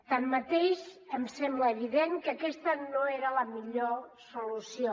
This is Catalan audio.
tanmateix em sembla evident que aquesta no era la millor solució